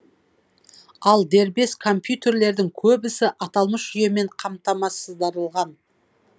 ал дербес компьютерлердің көбісі аталмыш жүйемен қамтамасыздырылған